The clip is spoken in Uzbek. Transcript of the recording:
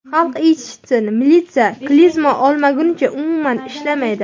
Xalq eshitsin, militsiya klizma olmaguncha umuman ishlamaydi.